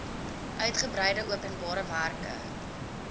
uigebreide openbare werke